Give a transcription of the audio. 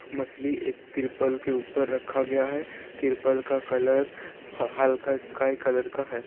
मछली एक तिरपाल के ऊपर रखा गया है | तिरपाल का कलर हल्का स्काई कलर का है।